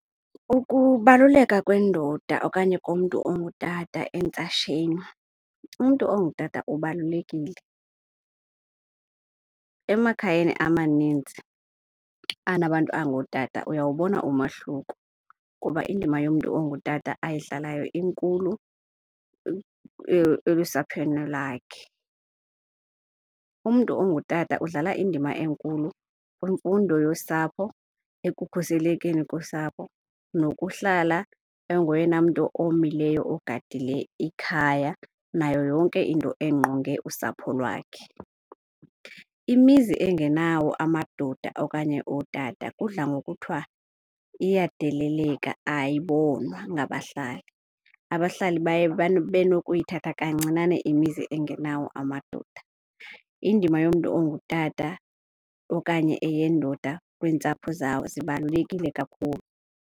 Ukubaluleka kwendoda okanye komntu ongutata entsasheni, umntu ongutata ubalulekile. Emakhayeni amaninzi anabantu abangootata uyawubona umahluko kuba indima yomntu ongutata ayidlalayo inkulu elusapheni lakhe. Umntu ongutata udlala indima enkulu kwimfundo yosapho, ekukhuselekeni kosapho nokuhlala engoyena mntu omileyo ogadile ikhaya nayo yonke into engqonge usapho lwakhe. Imizi engenawo amadoda okanye ootata kudla ngokuthiwa iyadeleleka, ayibonwa ngabahlali. Abahlali baye babe nokuyithatha kancinane imizi engenawo amadoda. Indima yomntu ongutata okanye eyendoda kwiintsapho zawo zibalulekile kakhulu.